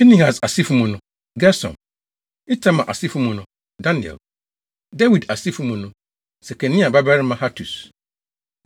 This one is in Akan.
Pinehas asefo mu no: Gersom; Itamar asefo mu no: Daniel. Dawid asefo mu no: Sekania babarima Hatus.